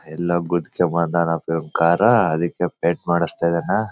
ಎಲ್ಲೋ ಗುದ್ದ್ ಕೊಂಡು ಬಂದನಾ ಕಾರ್ ಆ ಅದಿಕ್ಕೆ ಪೇಂಟ್ ಮಾಡ್ಸತಿದ್ನಾ.